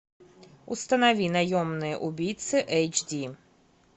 установи наемные убийцы эйч ди